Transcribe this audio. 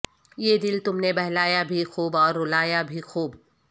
یہ دل تم نے بہلایا بھی خوب اور رولایا بھی خوب